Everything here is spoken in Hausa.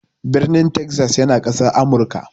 Birnin Texas yana Ƙasar Amurka.